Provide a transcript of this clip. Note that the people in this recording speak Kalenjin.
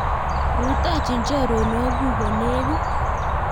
Rutoichi chorwokchu kolekit